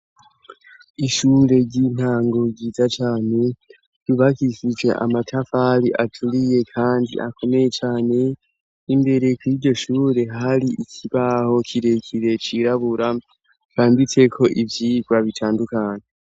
Ishure ry'intango ryiza cane ryubakishije amatafari aturiye kandi akomeye cane. Imbere kur'iyo shure, har'ikibaho kirekire cirabura canditseko ivyigwa bitandukanye.